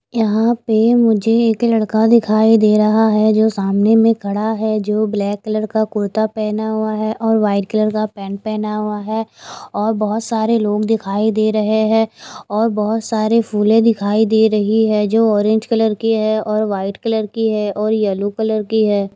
यहां पे मुझे एक लड़का दिखाई दे रहा है जो सामने में खड़ा है जो ब्लैक कलर का कुर्ता पहना हुआ है और वाइट कलर का पैंट पहना हुआ है और बहुत सारे लोग दिखाई दे रहे हैं और बहुत सारे फूलें दिखाई दे रही है जो ऑरेंज कलर की है और वाइट कलर की है और येलो कलर की है।